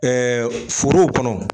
foro kɔnɔ